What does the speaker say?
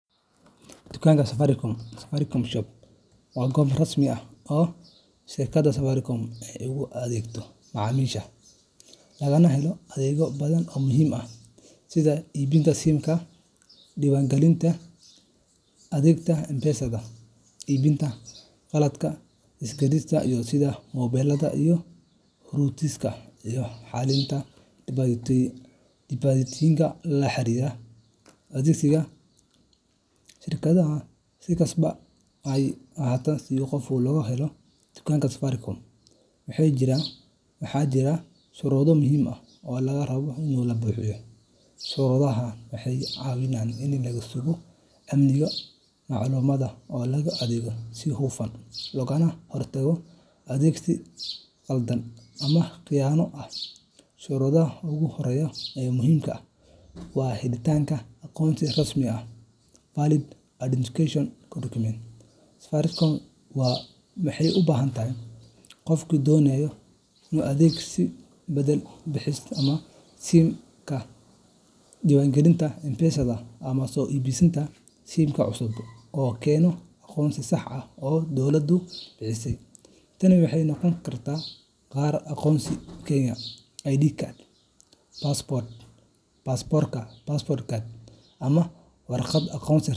Dukaanka Safaricom Safaricom Shop waa goob rasmi ah oo shirkadda Safaricom ay ugu adeegto macaamiisheeda, lagana helo adeegyo badan oo muhiim ah sida iibinta SIMka, diiwaangelinta adeegyada M-Pesada, iibinta qalabka isgaarsiinta sida moobilada iyo routerska, iyo xalinta dhibaatooyinka la xiriira adeegsiga adeegyada shirkadda. Si kastaba ha ahaatee, si qof loogu adeego dukaanka Safaricom, waxaa jira shuruudo muhiim ah oo laga rabo in la buuxiyo. Shuruudahani waxay caawiyaan in la sugo amniga macluumaadka, loo adeego si hufan, loogana hortago adeegsi khaldan ama khiyaano ah. Shuruudda ugu horreysa ee muhiimka ah waa helitaanka aqoonsi rasmi ah valid identification document. Safaricom waxay u baahan tahay in qofka doonaya adeegyo sida beddelka SIMka, diiwaangelinta M-Pesada, ama soo iibashada SIMka cusub uu keeno aqoonsi sax ah oo dowladdu bixisay. Tani waxay noqon kartaa kaarka aqoonsiga Kenya ID card, baasaboorka passport, ama warqad aqoonsi .